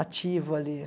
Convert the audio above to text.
ativo ali.